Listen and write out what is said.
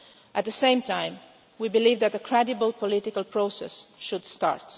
down. At the same time, we believe that a credible political process should start.